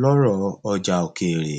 lóró ọjà òkèèrè